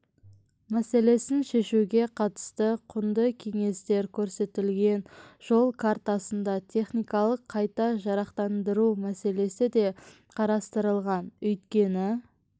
мәселесін шешуге қатысты құнды кеңестер көрсетілген жол картасында техникалық қайта жарақтандыру мәселесі де қарастырылған өйткені